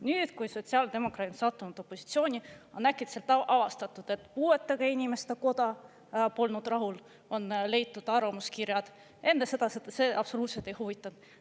Nüüd, kui sotsiaaldemokraadid on sattunud opositsiooni, on äkitselt avastatud, et puuetega inimeste koda polnud rahul, on leitud arvamuskirjad, enne see absoluutselt ei huvitanud.